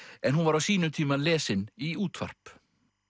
en hún var á sínum tíma lesin í útvarp